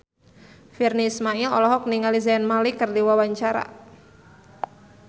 Virnie Ismail olohok ningali Zayn Malik keur diwawancara